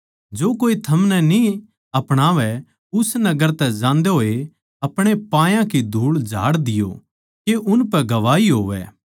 जो कोए थमनै न्ही अपणावै उस नगर तै जांदे होए अपणे पायां की धूळ झाड़ दियो के उनपै गवाही होवै